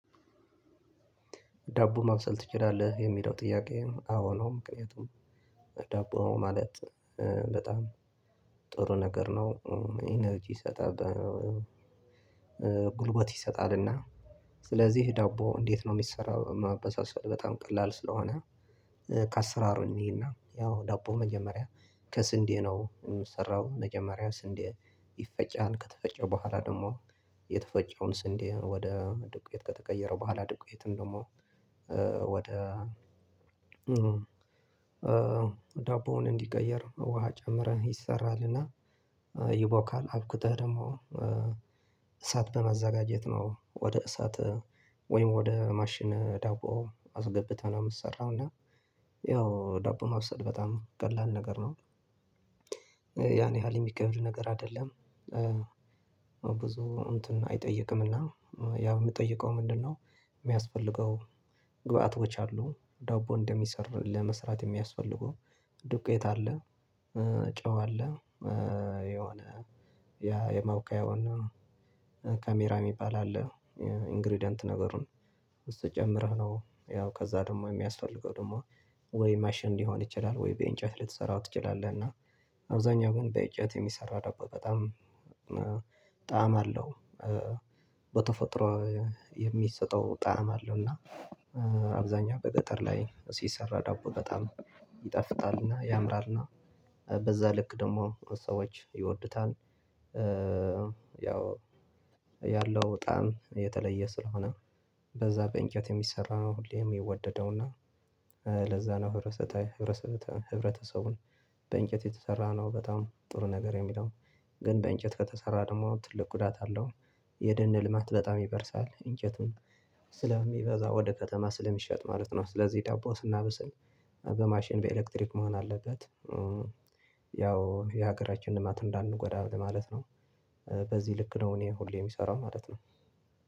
ዳቦ ማብሰል ትችላለህ? የሚለው ጥያቄ አዎ ነው ምክንያቱም ዳቦ ማለት በጣም ጥሩ ነገር ነው ኢነርጂ ይሰጣል ጉልበት ይሰጣልና። ስለዚህ ዳቦ እንዴት ነው የሚሰራው? ማበሳሰል በጣም ቀላል ስለሆነ ከአሰራሩ እንይና ያው ዳቦ መጀመሪያ ከስንዴ ነው የሚሰራው። መጀመሪያ ስንዴ ይፈጫል ከተፈጨው በኋላ ደግሞ የተፈጨውን ስንዴ ወደ ዱቄት ከተቀየረው በኋላ ዱቄትን ደግሞ ወደ ዳቦውን እንዲቀየር ውሃ ጨምረን ይሰራልና። ይቦካል አቡክተህ ደግሞ እሳት በማዘጋጀት ነው ወደ እሳት ወይም ወደ ማሽን ዳቦ አስገብተን ነው የምንሰራው። እና ያው ዳቦ ማብሰል በጣም ቀላል ነገር ነው። ያን ያህል የሚከብድ ነገር አይደለም። ብዙ እንትን አይጠይቅምና የሚጠይቀው ምንድነው? የሚያስፈልገው ግብአቶች አሉ ዳቦ እንደሚሰራ ለመስራት የሚያስፈልጉ ዱቄት አለ። ጨው አለ። የሆነ የማውቀውና ካሜራ የሚባል አለ። ኢንግሪደንት ነገሩን እሱ ጨምረህ ነው ያው ከዛ ደግሞ የሚያስፈልገው ደግሞ ወይ ማሽን ሊሆን ይችላል ወይ በእንጨት ልትሰራው ትችላለህ። እና አብዛኛው ግን በእንጨት የሚሰራው ዳቦ በጣም ጣዕም አለው። በተፈጥሮ የሚሰጠው ጣዕም አለው እና አብዛኛው በገጠር ላይ ሲሰራ ዳቦ በጣም ይጣፍጣል እና ያምራል እና በዛ ልክ ደግሞ ሰዎች ይወዱታል። ያለው ጣዕም የተለየ ስለሆነ በዛ በእንጨት የሚሰራው ሁሌም የሚወደደውና ለዛ ነው። ህብረተሰቡን በእንጨት የተሰራ ነው በጣም ጥሩ ነገር የሚለው ግን በእንጨት ከተሰራ ደግሞ ትልቅ ጉዳት አለው የደነ ልማት በጣም ይበርሳል እንጨቱን ስለሚበዛ ወደ ከተማ ስለሚሸጥ ማለት ነው። ስለዚህ ዳቦ ስናበስል በማሽን በኤሌክትሪክ መሆን አለበት። ያው የሀገራችን ልማት እንዳንጎዳ ለማለት ነው። በዚህ ልክ ነው እኔ ሁሌ የምሰራው ማለት ነው